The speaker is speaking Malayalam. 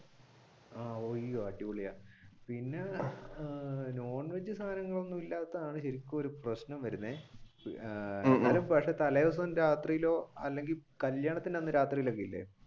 അയ്യോ അടിപൊളിയാണ് പിന്നെ അഹ് non veg സാധനങ്ങൾ ഒന്നുമില്ലാത്തതാണ് എനിക്കൊരു പ്രശ്നം വരുന്നത്. തലേ ദിവസം രാത്രിയിലോ അല്ലെങ്കിൽ കല്യാണത്തിന്റെ അന്ന് രാത്രിയിലൊക്കെ ഇല്ലേ?